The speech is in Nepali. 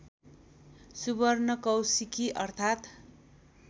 सुवर्णकौशिकी अर्थात्